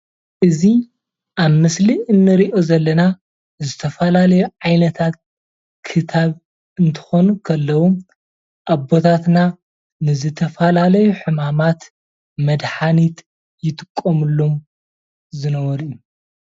እዚ ኣብ ምስሊ እንሪኦ ዘለና ዝተፈላለዩ ዓይነታት ክታብ እንትኾኑ ከለው ኣቦታትና ንዝተፈላለዩ ሕማማት መድሓኒት ይጥቀሙሎም ዝነበሩ እዮ፡፡